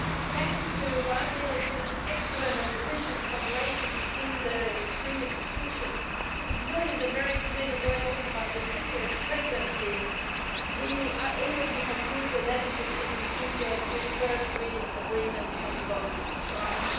Thanks to what I believe has been excellent and efficient cooperation between the three institutions, including the very committed work done by the Cypriot Presidency, we are able to conclude the legislative procedure with first reading agreement on both files.